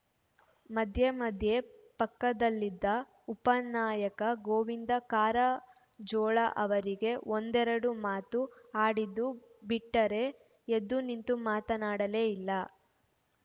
ಮಧ್ಯೆ ಮಧ್ಯೆ ಪಕ್ಕದಲ್ಲಿದ್ದ ಉಪನಾಯಕ ಗೋವಿಂದ ಕಾರಜೋಳ ಅವರಿಗೆ ಒಂದೆರಡು ಮಾತು ಆಡಿದ್ದು ಬಿಟ್ಟರೆ ಎದ್ದು ನಿಂತು ಮಾತನಾಡಲೇ ಇಲ್ಲ